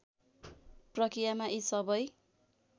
प्रक्रियामा यी सबै